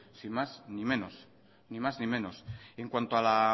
ni más ni menos